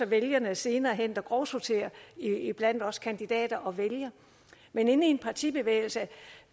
vælgerne der senere hen grovsorterer iblandt os kandidater og vælger men inde i en partibevægelse